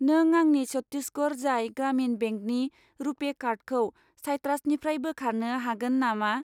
नों आंनि चत्तिसगर राज्य ग्रामिन बेंकनि रुपे कार्डखौ साइट्रासनिफ्राय बोखारनो हागोन नामा?